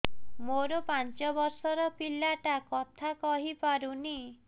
ମୋର ପାଞ୍ଚ ଵର୍ଷ ର ପିଲା ଟା କଥା କହି ପାରୁନି